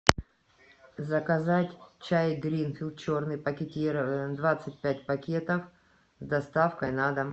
заказать чай гринфилд черный пакетированный двадцать пять пакетов с доставкой на дом